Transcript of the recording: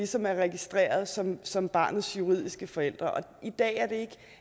som er registreret som som barnets juridiske forældre i dag